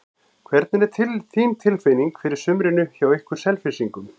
Hvernig er þín tilfinning fyrir sumrinu hjá ykkur Selfyssingum?